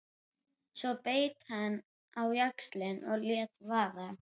Svo beit hann á jaxlinn og lét vaða.